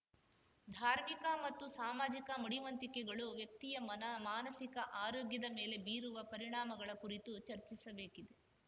ಧಾರ್ಮಿಕ ಮತ್ತು ಸಾಮಾಜಿಕ ಮಡಿವಂತಿಕೆಗಳು ವ್ಯಕ್ತಿಯ ಮನ ಮಾನಸಿಕ ಆರೋಗ್ಯದ ಮೇಲೆ ಬೀರುವ ಪರಿಣಾಮಗಳ ಕುರಿತು ಚರ್ಚಿಸಬೇಕಿದೆ